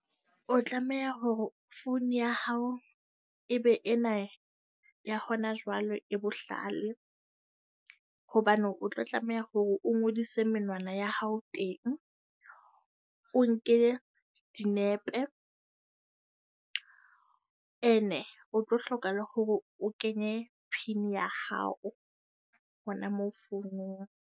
O tlameha hore phone ya hao e be ena ya hona jwale, e bohlale. Hobane o tlo tlameha hore o ngodise menwana ya hao teng. O nke dinepe. Ene ho tlo hlokahala hore o kenye pin ya hao hona mo founong.